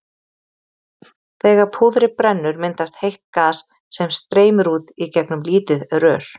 Þegar púðrið brennur myndast heitt gas sem streymir út í gegnum lítið rör.